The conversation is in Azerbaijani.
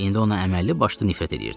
İndi ona əməlli başlı nifrət eləyirdim.